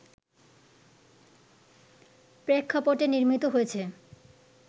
প্রেক্ষাপটে নির্মিত হয়েছে